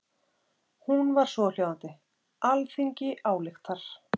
Hún var svohljóðandi: Alþingi ályktar